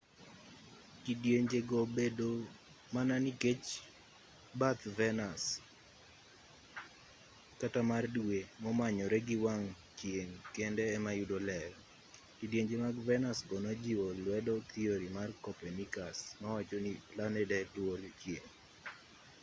kidienje go bedo mana nikech bath venus kata mar dwe momanyore gi wang' chieng' kende ema yudo ler. kidienje mag venus go nojiwo lwedo thiori mar copernicus mawacho ni planede lworo chieng'